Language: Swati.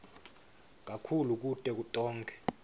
kakhulu kuto tonkhe